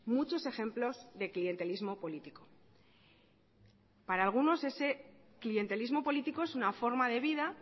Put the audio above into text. muchos ejemplos de clientelismo político para algunos ese clientelismo político es una forma de vida